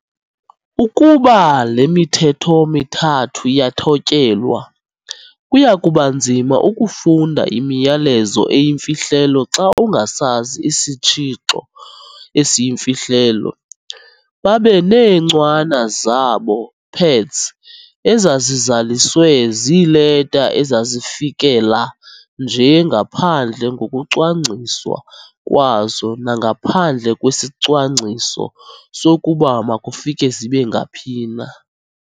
Ukuba le mithetho mithathu iyathotyelwa, kuyakubanzima ukufunda imiyalezo eyimfihlelo xa ungasazi isitshixo esiyimfihlelo. Babeneencwana zabo, "pads", ezazizaliswe ziileta ezazizifikela nje ngaphandle ngokucwangciswa kwazo nangaphandle kwesicwangciso sokuba makufike zibengaphi na.